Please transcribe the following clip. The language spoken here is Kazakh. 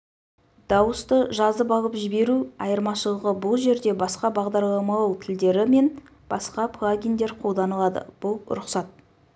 дауысты жазып алып жіберу айырмашылығы бұл жерде басқа бағдарламалау тілдері мен басқа плагиндер қолданылады бұл рұқсат